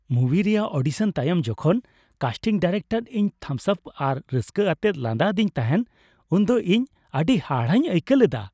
ᱢᱩᱵᱷᱤ ᱨᱮᱭᱟᱜ ᱚᱰᱤᱥᱚᱱ ᱛᱟᱭᱚᱢ ᱡᱚᱠᱷᱚᱱ ᱠᱟᱥᱴᱤᱝ ᱰᱤᱨᱮᱠᱴᱚᱨ ᱤᱧ ᱛᱷᱟᱢᱥ ᱟᱯ ᱟᱨ ᱨᱟᱹᱥᱠᱟᱹ ᱟᱛᱮᱭ ᱞᱟᱸᱫᱟ ᱟᱫᱤᱧ ᱛᱟᱦᱮᱸᱫ ᱩᱱ ᱫᱚ ᱤᱧ ᱟᱹᱰᱤ ᱦᱟᱦᱟᱲᱟᱜ ᱤᱧ ᱟᱹᱭᱠᱟᱹᱣ ᱞᱮᱫᱟ ᱾